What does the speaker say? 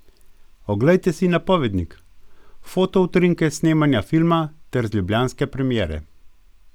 Oglejte si napovednik, fotoutrinke s snemanja filma ter z ljubljanske premiere!